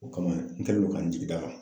O kama n kɛlen do ka n jigi d'a kan.